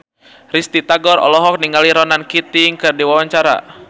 Risty Tagor olohok ningali Ronan Keating keur diwawancara